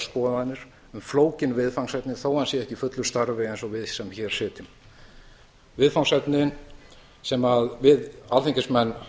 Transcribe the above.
um flókin viðfangsefni þó að hann sé ekki í fullu starfi eins og við sem hér sitjum viðfangsefnin sem við alþingismenn